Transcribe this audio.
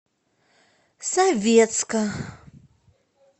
советска